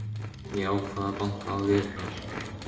Ég ákvað að banka á dyrnar.